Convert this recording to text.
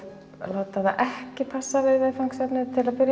láta það ekki passa við viðfangsefnið til að byrja